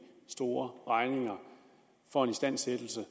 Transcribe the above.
store regninger for en istandsættelse